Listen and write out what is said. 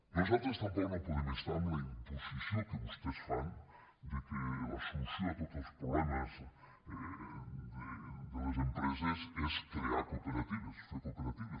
nosaltres tampoc no podem estar amb la imposició que vostès fan que la solució a tots els problemes de les empreses és crear cooperatives fer cooperatives